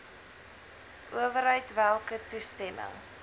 owerheid welke toestemming